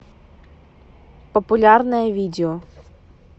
популярное видео